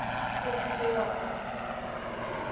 o se ke wa ba